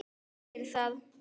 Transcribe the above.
Hvað segir það?